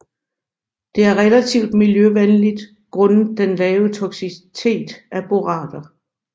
Det er relativt miljøvenligt grundet den lave toksicitet af borater